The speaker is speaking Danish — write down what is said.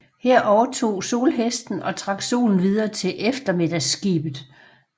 Her overtog solhesten og trak solen videre til eftermiddagsskibet